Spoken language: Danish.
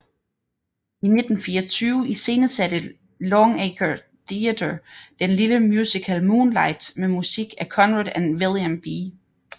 I 1924 iscenesatte Longacre Theatre den lille musical Moonlight med musik af Conrad og William B